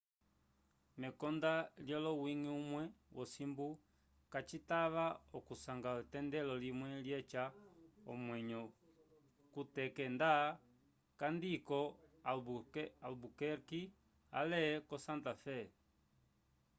mekonda lyowiñgi umwe wosimbu kacikatava okusanga etendelo limwe lyeca omwenyo kuteke nda kandi ko albuquerque ale ko santa fé